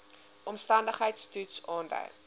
omstandigheids toets aandui